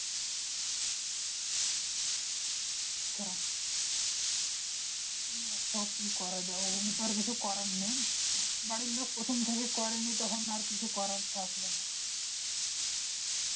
আচ্ছা কি করা যাই ওগুলো তো আর কিছু করা নেই বাড়ির লোক প্রথম থেকে করেনি তখন আর কিছু করার থাকবেনা